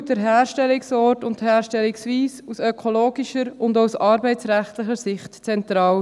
Denn der Herstellungsort und die Herstellungsweise sind aus ökologischer und auch aus arbeitsrechtlicher Sicht zentral.